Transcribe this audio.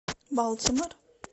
балтимор